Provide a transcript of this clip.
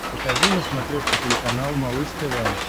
покажи на смотрешке телеканал малыш тв